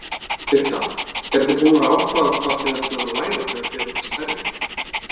Birta: Eruð þið búnar að ákveða hvað þið ætlið að læra þegar þið verðið stærri?